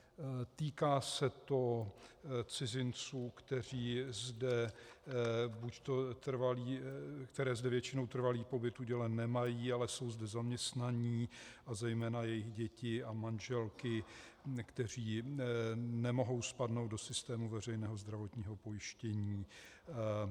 Týká se to cizinců, kteří zde většinou trvalý pobyt udělen nemají, ale jsou zde zaměstnaní, a zejména jejich děti a manželky, kteří nemohou spadnout do systému veřejného zdravotního pojištění.